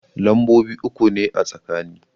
Lambobi uku ne a tsakani.